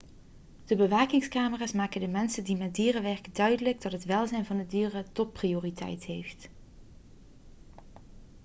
'de bewakingscamera's maken de mensen die met dieren werken duidelijk dat het welzijn van de dieren topprioriteit heeft.'